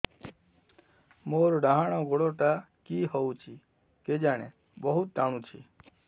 ମୋର୍ ଡାହାଣ୍ ଗୋଡ଼ଟା କି ହଉଚି କେଜାଣେ ବହୁତ୍ ଟାଣୁଛି